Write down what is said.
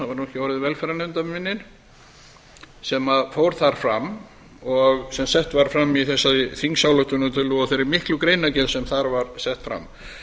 ekki orðin velferðarnefnd að mig minnir sem fór þar fram og sem sett var fram í þessari þingsályktunartillögu og þeirri miklu greinargerð sem þar var sett fram